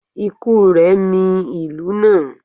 ikú rẹ̀ mì ìlú náà